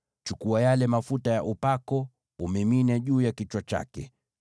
Chukua yale mafuta ya upako umimine juu ya kichwa chake.